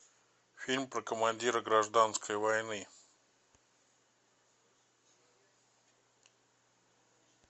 фильм про командира гражданской войны